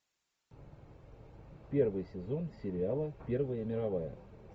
первый сезон сериала первая мировая